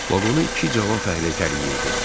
Vaqonu iki cavan fəhlə itələyirdi.